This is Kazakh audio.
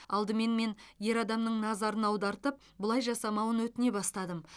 алдымен мен ер адамның назарын аудартып бұлай жасамауын өтіне бастадым